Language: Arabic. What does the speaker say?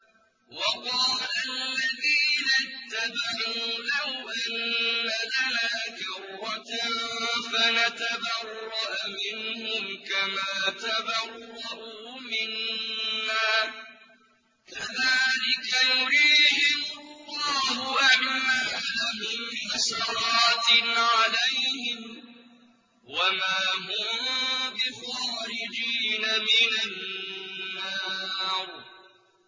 وَقَالَ الَّذِينَ اتَّبَعُوا لَوْ أَنَّ لَنَا كَرَّةً فَنَتَبَرَّأَ مِنْهُمْ كَمَا تَبَرَّءُوا مِنَّا ۗ كَذَٰلِكَ يُرِيهِمُ اللَّهُ أَعْمَالَهُمْ حَسَرَاتٍ عَلَيْهِمْ ۖ وَمَا هُم بِخَارِجِينَ مِنَ النَّارِ